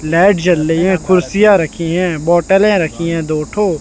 light जल रही है कुर्सियाँ रखी हैं बॉटले रखी हैं दो ठो --